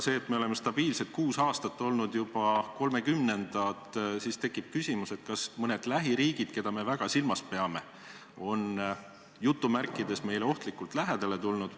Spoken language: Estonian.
Kui me oleme stabiilselt kuus aastat olnud juba 30. kohal, siis tekib küsimus, kas mõned lähiriigid, keda me väga silmas peame, on meile "ohtlikult lähedale tulnud".